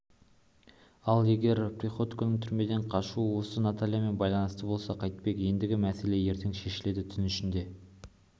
ал егер приходьконың түрмеден қашуы осы натальямен байланысты болса қайтпек ендігі мәселе ертең шешіледі түн ішінде